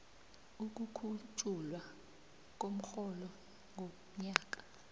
ukukhutjhulwa komrholo ngomnyaka